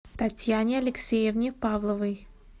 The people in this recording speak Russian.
татьяне алексеевне павловой